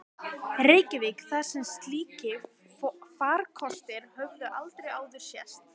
Reykjavík, þar sem slíkir farkostir höfðu aldrei áður sést.